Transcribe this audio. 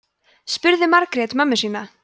spurði margrét mömmu sína